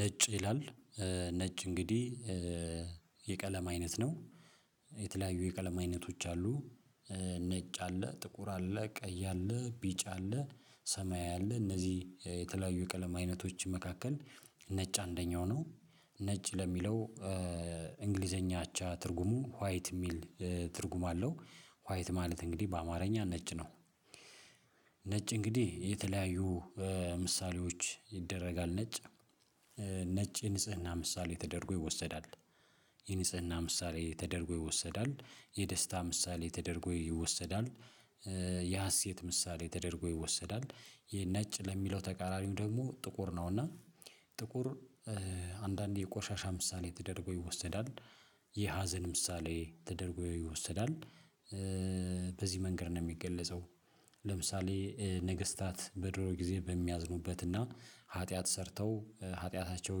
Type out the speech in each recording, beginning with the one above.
ነጭ ይላል። ነጭ እንግዲህ የቀለም አይነት ነው የተለያዩ የቀለም አይነቶች አሉ። ነጭ አለ ጥቁር አለ ቀይ አለ ቢጭ አለ ሰማይ አለ እነዚህ የተለያዩ የቀለም አይነቶች መካከል ነጭ አንደኛው ነው ነጭ ለሚለው እንግሊዘኛ አቻ ትርጉሙ ዋይት የሚል ትርጉም አለው ዋይት ማለት እንግዲህ በአማርኛ ነጭ ነው። ነጭ እንግዲህ የተለያዩ ምሳሌዎች ይደረጋል ነጭ ነጭ ንጽህና ምሳሌ የተደረጎ ይወሰዳል። የንጽህና ምሳሌ ተደርጎ ይወሰዳል የደስታ ምሳሌ ተደርጎ ይወሰዳል። የሀሴት ምሳሌ ተደርጎ ይወሰዳል። ይሄ ነጭ ለሚለው ተቃራኒው ደግሞ ጥቁር ነው እና ጥቁር አንዳንዴ የቆሻሻ ምሳሌ ተደርጎ ይወሰዳል የሀዘን ምሳሌ ተደርጎ ይወሰዳል። በዚህ መንገድ ነው የሚገለጸው። ለምሳሌ ነገስታት በድሮ ጊዜ በሚያዝኑበትና ኃጢአት ሰርተው ኃጢአታቸው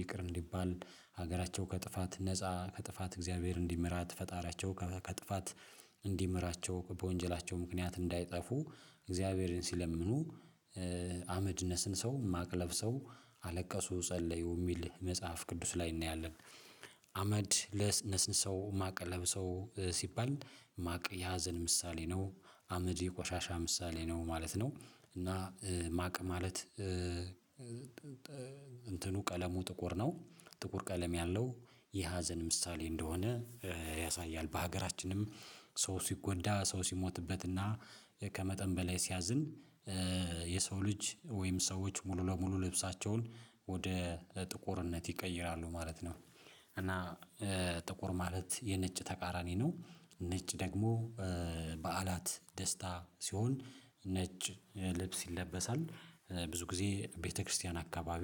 ይቅር እንዲባል ሀገራቸው ከጥፋት ነፃ ከጥፋት እግዚአብሔር እንዲመራት ፈጣሪያቸው ከጥፋት እንዲምራቸው በወንጀላቸው ምክንያት እንዳይጠፉ እግዚአብሔርን ሲለምኑ አመድ ነስንሰው ማቅለፍ ሰው አለቀሱ ጸለዩ የሚል መጽሐፍ ቅዱስ ላይ እናያለን። አመድ ለነስን ሰው ማቅ ለብሰው ሲባል ማቅ ያዘን ምሳሌ ነው። አመድ የቆሻሻ ምሳሌ ነው ማለት ነው። እና ማቅ ማለት እንትኑ ቀለሙ ጥቁር ነው። ጥቁር ቀለም ያለው የሀዘን ምሳሌ እንደሆነ ያሳያል በሀገራችንም ሰው ሲጎዳ ሰው ሲሞትበትና ከመጠን በላይ ሲያዝን። የሰው ልጅ ወይም ሰዎች ሙሉ ለሙሉ ልብሳቸውን ወደ ጥቁርነት ይቀይራሉ ማለት ነው። እና ጥቁር ማለት የነጭ ተቃራኒ ነው። ነጭ ደግሞ በዓላት ደስታ ሲሆን ነጭ ልብስ ይለበሳል። ብዙ ጊዜ ቤተክርስቲያን አካባቢ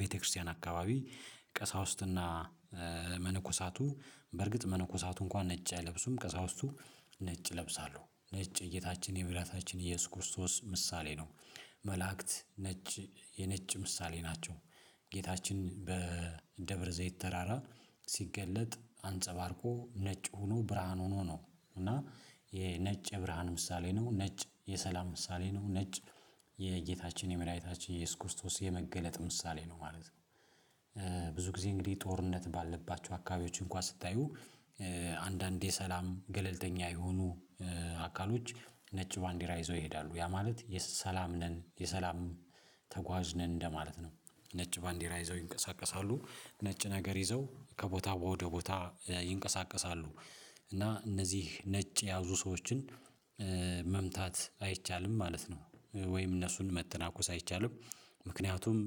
ቤተክርስቲያን አካባቢ ቀሳውስትና መነኮሳቱ በርግጥ መነኮሳቱ እንኳን ነጭ አይለብሱም ከዛ ውስጥ ነጭ እለብሳለሁ ነጭ እይታችን የሚላታችን ኢየሱስ ክርስቶስ ምሳሌ ነው። መላእክት ነጭ የነጭ ምሳሌ ናቸው። ጌታችን በእንደ ዘይት ተራራ ሲገለጥ አንጸባርቆ ነጭ ሆኖ ብርሃን ሆኖ ነው እና የነጭ የብርሃን ምሳሌ ነው ነጭ የሰላም ምሳሌ ነው ነጭ የጌታችን የመላእክታችን ኢየሱስ ክርስቶስ የመገለጥ ምሳሌ ነው ማለት ነው። ብዙ ጊዜ እንግዲህ ጦርነት ባለባቸው አካባቢዎች እንኳን ስታዩ አንዳንድ የሰላም ገለልተኛ የሆኑ አካሎች ነጭ ባንዲራ ይዘው ይሄዳሉ ያ ማለት የሰላም ነን የሰላም ተጓዝ ነን እንደማለት ነው። ነጭ ባንዲራ ይዘው ይንቀሳቀሳሉ ነጭ ነገር ይዘው ከቦታ ወደ ቦታ ይንቀሳቀሳሉ። እና እነዚህ ነጭ የያዙ ሰዎችን መምታት አይቻልም ማለት ነው። ወይም እነሱን መተናኮስ አይቻልም። ምክንያቱም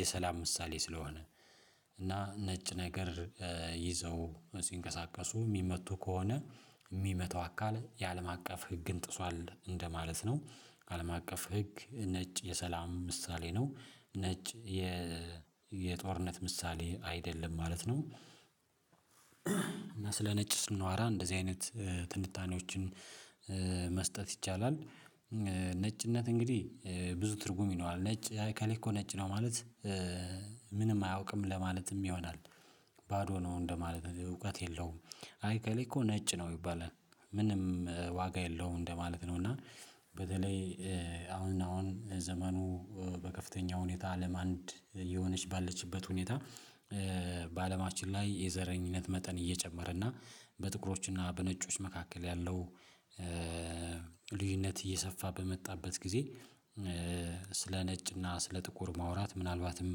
የሰላም ምሳሌ ስለሆነ እና ነጭ ነገር ይዘው ሲንቀሳቀሱ የሚመቱ ከሆነ የሚመታው አካል የአለም አቀፍ ህግን ጥሷል እንደማለት ነው። አለም አቀፍ ህግ ነጭ የሰላም ምሳሌ ነው። ነጭ የ የጦርነት ምሳሌ አይደለም ማለት ነው። እና ስለ ነጭ ስንዋራ እንደዚህ አይነት ትንታኔዎችን መስጠት ይቻላል። ነጭነት እንግዲህ ብዙ ትርጉም ይነዋል ነጭ ከሌኮ ነጭ ነው ማለት ምንም አያውቅም ለማለትም ይሆናል። ባዶ ነው እንደማለት እውቀት የለውም። አይ ከሌኮ ነጭ ነው ይባላል። ምንም ዋጋ የለውም እንደማለት ነው እና። በተለይ አሁን አሁን ዘመኑ በከፍተኛ ሁኔታ አለም አንድ የሆነች ባለችበት ሁኔታ በአለማችን ላይ የዘረኝነት መጠን እየጨመረ እና በጥቁሮች እና በነጮች መካከል ያለው ልጅነት እየሰፋ በመጣበት ጊዜ ስለ ነጭና ስለ ጥቁር ማውራት ምናልባትም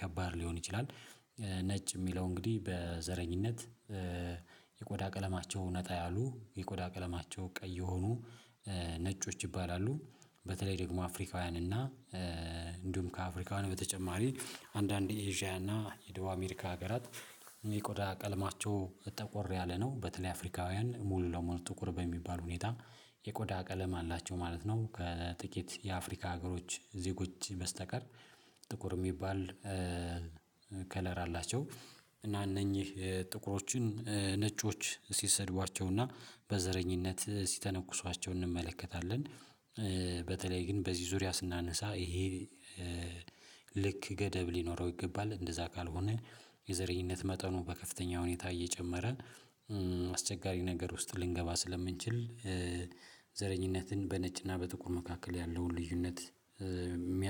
ከባድ ሊሆን ይችላል። ነጭ የሚለው እንግዲህ በዘረኝነት ቀለማቸው እውነት ያሉ የቆዳ ቀለማቸው ቀይ የሆኑ ነጮች ይባላሉ። በተለይ ደግሞ አፍሪካውያን እና እንዲሁም ከአፍሪካውያን በተጨማሪ አንዳንድ የኤዥያ እና የደቡብ አሜሪካ ሀገራት የቆዳ ቀልማቸው በጠቆር ያለ ነው በተለይ አፍሪካውያን ሙሉ ለሙሉ ጥቁር በሚባል ሁኔታ የቆዳ ቀለም አላቸው ማለት ነው። ከጥቂት የአፍሪካ ሀገሮች ዜጎች በስተቀር ጥቁር የሚባል ከለር አላቸው። እና እነኚህ ጥቁሮችን ነጮች ሲሰድቧቸውና በዘረኝነት ሲተነኩሷቸው እንመለከታለን። በተለይ ግን በዚህ ዙሪያ ስናነሳ ይሄ ልክ ገደብ ሊኖረው ይገባል እንደዛ ካልሆነ የዘረኝነት መጠኑ በከፍተኛ ሁኔታ እየጨመረ አስቸጋሪ ነገር ውስጥ ልንገባ ስለምንችል። ዘረኝነትን በነጭና በጥቁር መካከል ያለውን ልዩነት የሚያ